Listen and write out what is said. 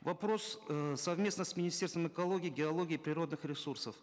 вопрос эээ совместно с министерством экологии геологии природных ресурсов